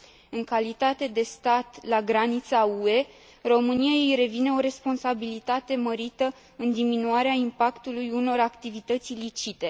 În calitate de stat la granița UE, României îi revine o responsabilitate mărită în diminuarea impactului unor activități ilicite.